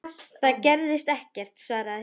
Það gerðist ekkert, svaraði hún.